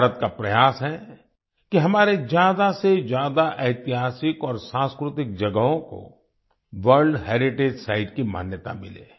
भारत का प्रयास है कि हमारे ज्यादासेज्यादा ऐतिहासिक और सांस्कृतिक जगहों को वर्ल्ड हेरिटेज साइट्स की मान्यता मिले